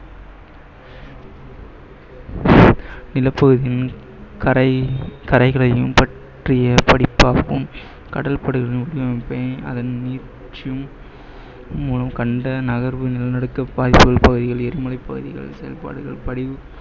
நிலப்பகுதியின் கரை கரைகளையும் பற்றிய படிப்பாகும் கடல் அதன் நீட்சியும் உம் கண்ட பகுதிகள், எரிமலை பகுதிகளின் செயல்பாடுகள்